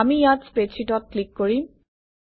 আমি ইয়াত স্প্ৰেডশ্বিটত ক্লিক কৰিম